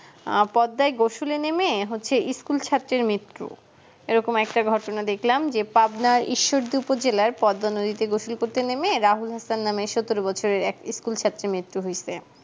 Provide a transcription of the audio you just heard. আহ পদ্মায় গোসুলে নেমে হচ্ছে school ছাত্রীর মৃত্যু এই রকম একটা ঘটনা দেখলাম যে পাটনায় ঈশ্বর দুটো জেলার পদ্মা নদীতে গোসুল করতে নেমে রাহুল আক্তার নাম সতেরো বছরের এক school ছাত্রে মৃত্যু হয়েছে